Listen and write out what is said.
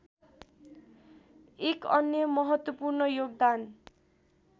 एक अन्य महत्वपूर्ण योगदान